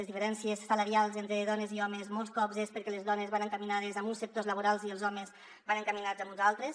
les diferències salarials entre dones i homes molts cops són perquè les dones van encaminades a uns sectors laborals i els homes van encaminats a uns altres